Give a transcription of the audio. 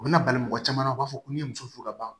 U bɛna bali mɔgɔ caman na u b'a fɔ ko n'i ye muso furu ka ban